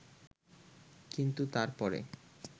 কিন্তু তারপরে